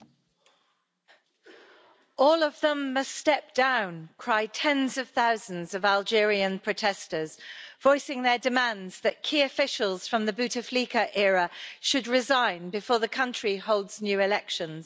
Mr President, all of them must step down' cry tens of thousands of Algerian protesters, voicing their demands that key officials from the Bouteflika era should resign before the country holds new elections.